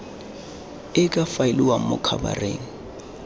e ka faeliwang mo khabareng